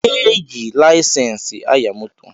E ji laisensi aya moto